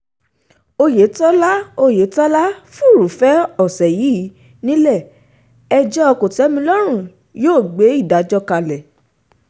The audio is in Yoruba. oyetola oyetola furuufée ọ̀sẹ̀ yìí nílẹ̀-ẹjọ́ kòtẹ́milọ́rùn yóò gbé ìdájọ́ kalẹ̀